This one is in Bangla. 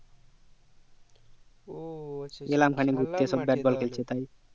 ও এলাম এখানে ঘুরতে